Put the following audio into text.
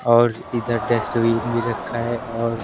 और इधर डस्टबिन भी रखा है और--